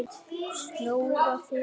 Snoða þig?